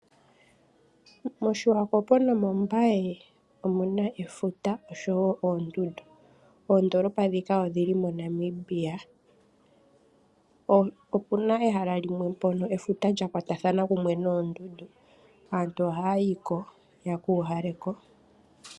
MOshiwakopo nomOmbaye omuna efuta oshowo oondundu. Oondolopa dhika odhi li moNamibia. Opuna ehala limwe mpoka efuta lyakwatathana kumwe noondundu, aantu oha yi ko ye kuuhale ko.